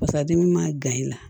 Pasa dimi ma gan i la